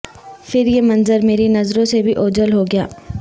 پھر یہ منظر میری نظروں سے بھی اوجھل ہو گیا